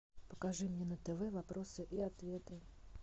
покажи мне на тв вопросы и ответы